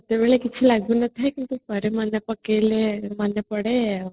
ସେତେବେଳେ କିଛି ଲାଗୁନଥାଏ କିନ୍ତୁ ମାନେ ପକେଇଲେ ମନେପଡେ